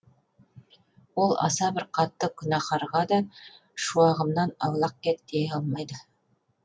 ол аса бір қатты күнәһарға да шуағымнан аулақ кет дей алмайды